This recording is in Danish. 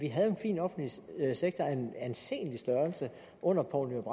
havde en fin offentlig sektor af en anselig størrelse under poul nyrup